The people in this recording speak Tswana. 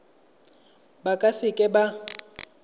ba ka se ka ba